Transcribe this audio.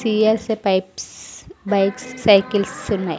TSA pipes bikes cycles ఉన్నాయి.